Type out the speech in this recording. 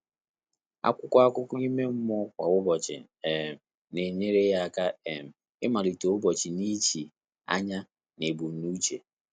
Ákwụ́kwọ́ ákụ́kọ́ ímé mmụ́ọ́ kwá ụ́tụ́tụ̀ um nà-ényéré yá áká um ị́màlíté ụ́bọ́chị̀ nà ìchí ányá nà ébùmnúché.